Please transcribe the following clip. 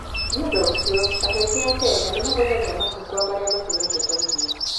Nĩ ũndũ ũcio, andũ aingĩ a Kenya nĩ mahũthagĩra macungwa marĩa macinĩtwo ta irio.